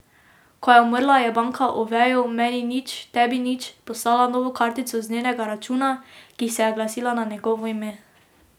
Ko je umrla, je banka Oveju meni nič tebi nič poslala novo kartico z njenega računa, ki se je glasila na njegovo ime.